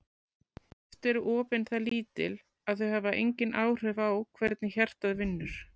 Oft eru opin það lítil að þau hafa engin áhrif á hvernig hjartað vinnur.